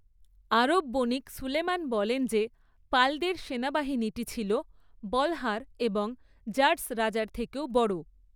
আরব বণিক সুলেমান বলেন যে, পালদের সেনাবাহিনীটি ছিল বলহার এবং জার্‌স রাজার থেকেও বড়।